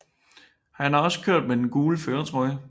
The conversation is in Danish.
Han har også kørt med den gule førertrøje